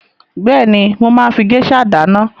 Bẹ́èni, mo máa ń fi géṣà dáná.